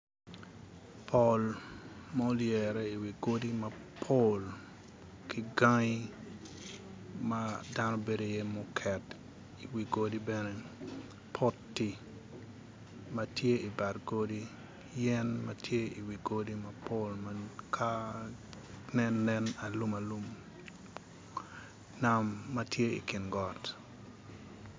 Pol mulyere i wi godi mapol ki gangi ma dano bedo iye muket i wi godi bene, poti ma tye i bad godi yen ma tye iwi godi mapol ma ka nen, nen alum alum nam ma tye i kin got.